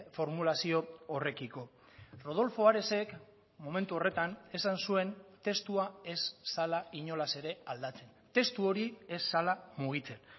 formulazio horrekiko rodolfo aresek momentu horretan esan zuen testua ez zela inolaz ere aldatzen testu hori ez zela mugitzen